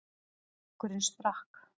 Og bekkurinn sprakk.